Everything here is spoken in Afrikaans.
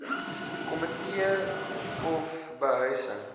komitee or behuising